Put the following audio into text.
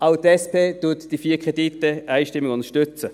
Auch die SP wird die vier Kredite einstimmig unterstützen.